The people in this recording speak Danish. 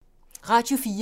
Radio 4